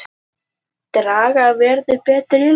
Draga verði betur í land